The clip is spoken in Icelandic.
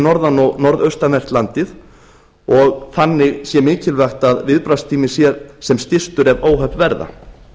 norðan og norðaustanvert landið og þannig sé mikilvægt að viðbragðstími sé sem stystur ef óhöpp verða